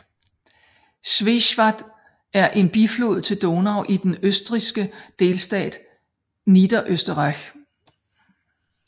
Schwechat er en biflod til Donau i den østrigske delstat Niederösterreich